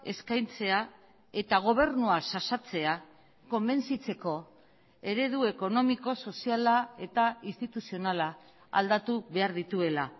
eskaintzea eta gobernua xaxatzea konbentzitzeko eredu ekonomiko soziala eta instituzionala aldatu behar dituela